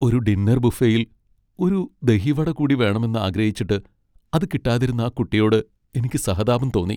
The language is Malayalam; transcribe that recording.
ഒരു ഡിന്നർ ബുഫേയിൽ ഒരു ദഹി വട കൂടി വേണമെന്ന് ആഗ്രഹിച്ചിട്ട് അത് കിട്ടാതിരുന്ന ആ കുട്ടിയോട് എനിക്ക് സഹതാപം തോന്നി.